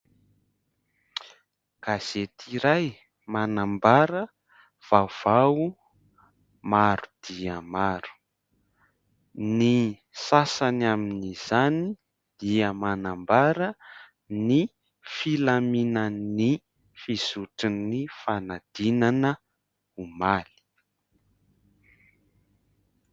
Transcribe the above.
Gazety iray manambara vaovao maro dia maro. Ny sasany amin' izany dia manambara ny filaminan' ny fizotran' ny fanadinana omaly.